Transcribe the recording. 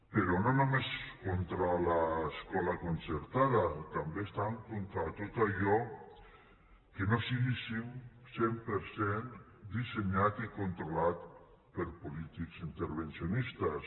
però no només contra l’escola concertada també estan contra tot allò que no sigui cent per cent dissenyat i controlat per polítics intervencionistes